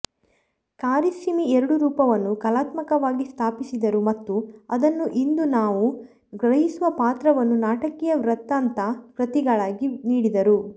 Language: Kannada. ಕಾರಿಸ್ಸಿಮಿ ಎರಡೂ ರೂಪವನ್ನು ಕಲಾತ್ಮಕವಾಗಿ ಸ್ಥಾಪಿಸಿದರು ಮತ್ತು ಅದನ್ನು ಇಂದು ನಾವು ಗ್ರಹಿಸುವ ಪಾತ್ರವನ್ನು ನಾಟಕೀಯ ವೃತ್ತಾಂತ ಕೃತಿಗಳಾಗಿ ನೀಡಿದರು